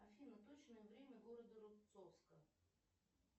афина точное время города рубцовска